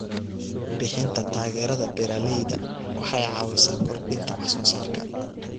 Bixinta taageerada beeralayda waxay caawisaa kordhinta wax soo saarka.